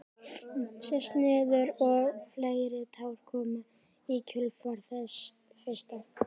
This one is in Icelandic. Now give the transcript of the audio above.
Sest niður og fleiri tár koma í kjölfar þess fyrsta.